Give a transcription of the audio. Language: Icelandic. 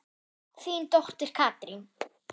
Þín dóttir Katrín.